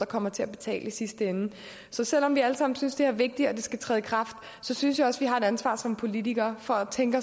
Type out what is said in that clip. kommer til at betale i sidste ende så selv om vi alle sammen synes at det er vigtigt at det skal træde i kraft synes jeg også vi har et ansvar som politikere for at tænke